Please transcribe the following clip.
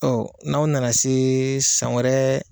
Ɔ n'aw nana se san wɛrɛ